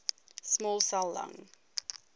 small cell lung